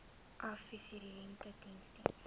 adviserende diens diens